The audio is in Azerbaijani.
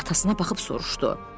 Atasına baxıb soruşdu.